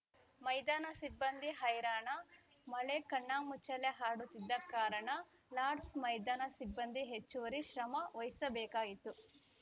ಮೈದಾನ ಸಿಬ್ಬಂದಿ ಹೈರಾಣ ಮಳೆ ಕಣ್ಣಾಮುಚ್ಚಾಲೆ ಆಡುತ್ತಿದ್ದ ಕಾರಣ ಲಾರ್ಡ್ಸ್ ಮೈದಾನ ಸಿಬ್ಬಂದಿ ಹೆಚ್ಚುವರಿ ಶ್ರಮ ವಹಿಸಬೇಕಾಯಿತು